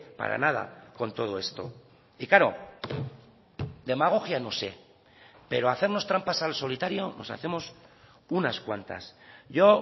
para nada con todo esto y claro demagogia no sé pero hacernos trampas al solitario nos hacemos unas cuantas yo